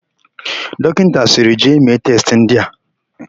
Dọkịta sịrị, "jee mee testị ndị a"!